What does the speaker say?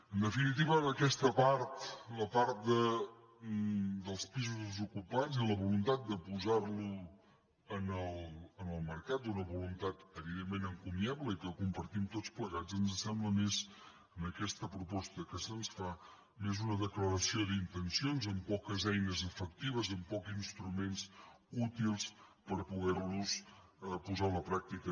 en definitiva aquesta part la part dels pisos desocu·pats i la voluntat de posar·los en el mercat una vo·luntat evidentment encomiable i que compartim tots plegats ens sembla més en aquesta proposta que se’ns fa una declaració d’intencions amb poques ei·nes efectives amb pocs instruments útils per poder·la posar a la pràctica